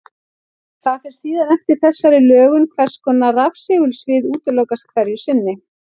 Það fer síðan eftir þessari lögun hvers konar rafsegulsvið útilokast hverju sinni.